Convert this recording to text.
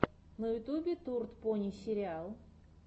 на ютюбе турд пони сериал